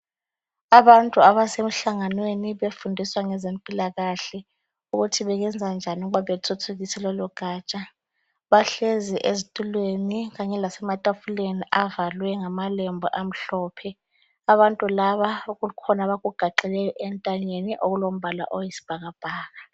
Abantu abase mhlanganweni befundiswa ngeze mpilakahle ukuthi bengenza njani ukuthi bethuthukise lolo gaja, bahlezi ezitulweni kanye lasema tafuleni avalwe ngamalembu amhlophe. Abantu laba bakhona abakugaxileyo entanyeni okulombala oyisibhakabhaka.